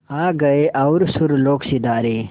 आ गए और सुरलोक सिधारे